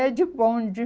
É, de bonde.